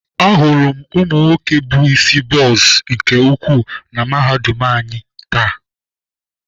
Ahụrụ m ụmụnwoke bụ isi bọz nke ukwuu na Mahadum anyị taa.